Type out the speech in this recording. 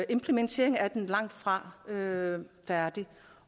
implementeringen af den er langtfra færdig